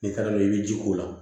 N'i taara n'o ye i bɛ ji k'o la